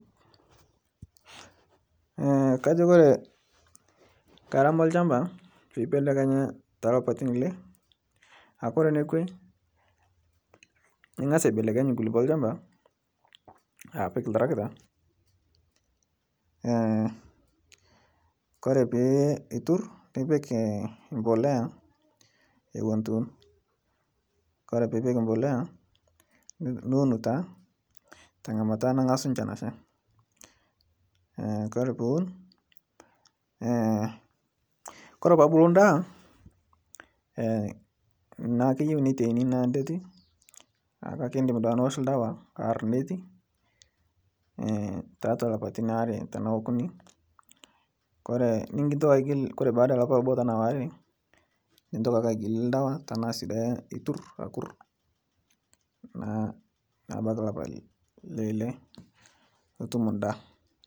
Kajo Kore ngarama elshamba peibelekenya talapatin lle ,Kore nekwe ing'as aibelekeny nkulupo elshamba apik ltaragita kore pitur nipik mpolea ewon etu iun ,Kore piipik mpolea niun taa tangamata nangasu nchan asha, Kore piun kore pebulu ndaa naaku keyeu neitiani naa ndeti kake indim duake niwosh ldawa arr ndeti tatua lapatin aree tanaa okuni kore nintoki aigil paada lapa obo tanaa waare nintoki ake iagile ldawa tanaasi duake iturr akur naa nebaki lapa leile nutum ndaa